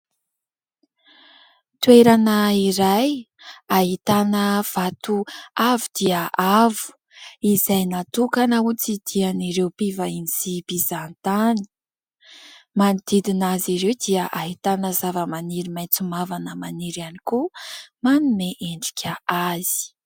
Toerana iray ahitana vato avo dia avo izay natokana ho tsidihan'ireo mpivahiny sy mpizahantany. Manodidina azy ireo dia ahitana zavamaniry maitso mavana maniry ihany koa, manome endrika azy.